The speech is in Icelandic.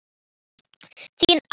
Þín Agnes.